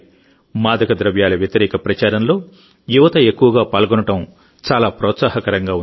మాదక ద్రవ్యాల వ్యతిరేక ప్రచారంలో యువత ఎక్కువగా పాల్గొనడం చాలా ప్రోత్సాహకరంగా ఉంది